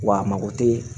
Wa a mago tɛ